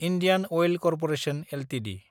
Indian oil corporation Ltd